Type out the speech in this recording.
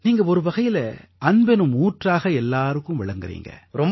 நீங்க ஒருவகையில அன்பெனும் ஊற்றாக எல்லாருக்கும் விளங்கறீங்க